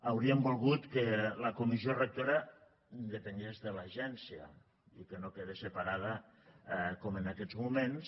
hauríem volgut que la comissió rectora depengués de l’agència i que no quedés separada com en aquests moments